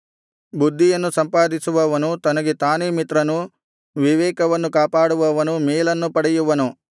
ಬುದ್ಧಿಯನ್ನು ಸಂಪಾದಿಸುವವನು ತನಗೆ ತಾನೇ ಮಿತ್ರನು ವಿವೇಕವನ್ನು ಕಾಪಾಡುವವನು ಮೇಲನ್ನು ಪಡೆಯುವನು